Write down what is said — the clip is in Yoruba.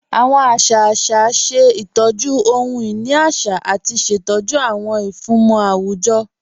Awọn àṣà àṣà ṣẹ̀ ìtọ́jú ọhun-inì àṣà àti ṣẹ̀tọ́jú awọn ìfúnmọ̀ awujọ̀